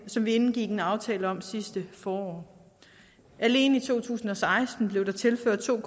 som vi indgik en aftale om sidste forår alene i to tusind og seksten blev der tilført to